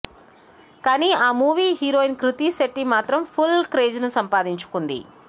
కానీ ఆ movie heroine Krithi Shetty మాత్రం ఫుల్ క్రేజ్్ సంపాదించుకుంది